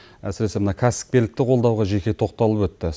әсіресе мына кәсіпкерлікті қолдауға жеке тоқталып өтті